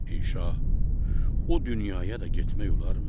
Ey şah, o dünyaya da getmək olarmı?